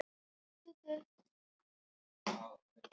Hét því þá að eiga aldrei framar orðaskipti við þennan lækni.